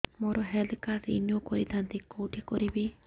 ମୋର health card renew କରିଥାନ୍ତି କୋଉଠି କରିବି